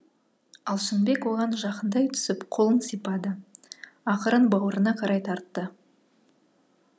алшынбек оған жақындай түсіп қолын сипады ақырын бауырына қарай тартты